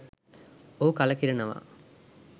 ඔහු කලකිරෙනවා.